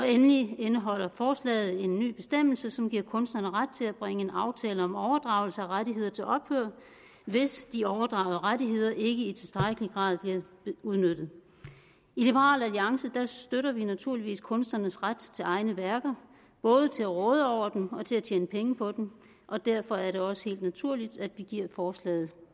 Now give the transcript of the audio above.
endelig indeholder forslaget en ny bestemmelse som giver kunstnerne ret til at bringe en aftale om overdragelse af rettigheder til ophør hvis de overdragede rettigheder ikke i tilstrækkelig grad bliver udnyttet i liberal alliance støtter vi naturligvis kunstnernes ret til egne værker både til at råde over dem og til at tjene penge på dem og derfor er det også helt naturligt at vi giver forslaget